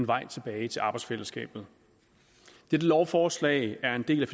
vej tilbage til arbejdsfællesskabet dette lovforslag er en del af